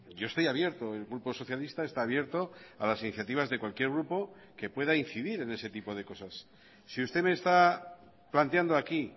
yo estoy abierto el grupo socialista está abierto a las iniciativas de cualquier grupo que pueda incidir en ese tipo de cosas si usted me está planteando aquí